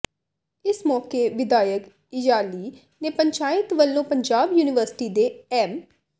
ਇਸ ਮੌਕੇ ਵਿਧਾਇਕ ਇਯਾਲੀ ਤੇ ਪੰਚਾਇਤ ਵੱਲੋਂ ਪੰਜਾਬ ਯੂਨੀਵਰਸਿਟੀ ਦੇ ਐੱਮ